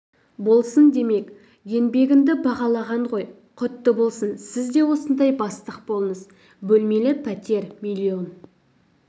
болсын демек еңбегіңді бағалаған ғой құтты болсын сіз де осындай бастық болыңыз бөлмелі пәтер миллион